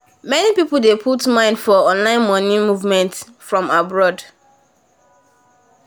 many people dey put mind for online money movement from abroad